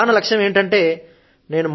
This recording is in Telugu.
నా ప్రధాన లక్ష్యం ఏమిటంటే